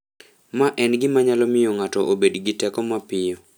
Ma en gima nyalo miyo ng'ato obed gi teko mapiyo.